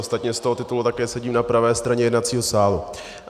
Ostatně z toho titulu také sedím na pravé straně jednacího sálu.